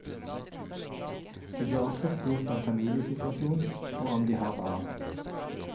De blir også spurt om familiesituasjon og om de har barn.